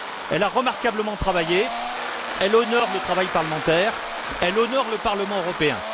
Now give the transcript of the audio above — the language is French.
Elle a remarquablement travaillé, elle honore le travail parlementaire, elle honore le Parlement européen.